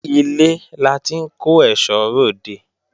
Ilé la ti ń kó èsó re òde